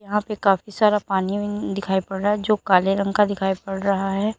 यहां पे काफी सारा पानी दिखाई पड़ रहा है जो काले रंग का दिखाई पड़ रहा है।